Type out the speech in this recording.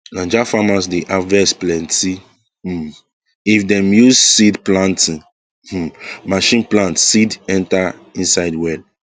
9ja farmers dey harvest plenty um if dem use seed planting um machine plant seed enter inside well